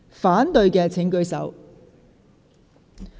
反對的請舉手。